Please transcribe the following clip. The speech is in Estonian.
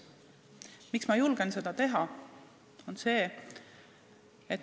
Miks ma julgen seda teha?